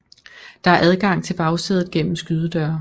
Der er adgang til bagsædet gennem skydedøre